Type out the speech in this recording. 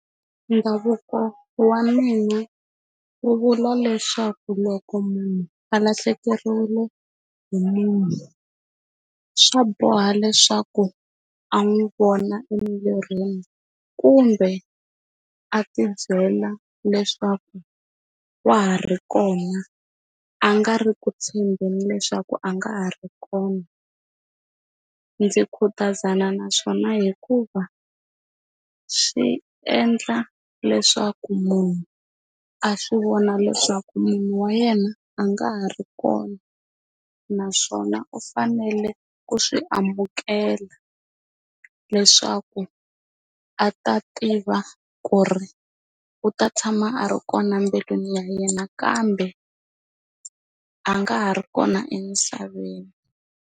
Ndhavuko wa mina wu vula leswaku loko munhu valahlekeriwile hi munhu swa boha leswaku a n'wi vona emirini kumbe a ti byela leswaku wa ha ri kona a nga ri ku tshembeni leswaku a nga ha ri kona ndzi khutazana naswona hikuva swi endla leswaku munhu a swi vona leswaku munhu wa yena a nga ha ri kona naswona u fanele ku swi amukela leswaku a ta tiva ku ri u ta tshama a ri kona embilwini ya yena kambe a nga ha ri kona emisaveni.